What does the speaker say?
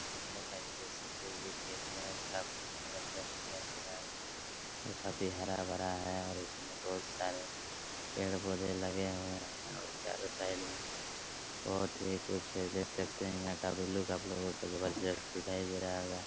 Hello guys देख सकते है ये खेत बेहद काफी जबरजस्त दिखाई दे रहा है और काफी हरा-भरा है और उसमे बहुत सारे पेड़-पौधे लगे हुए है और चारों साइड में बहुत ही कुछ है देख सकते यहाँ का भी लुक आपलोग को जबरजस्त दिखाई दे रहा होगा।